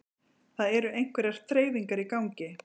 Það eru einhverjar þreifingar í gangi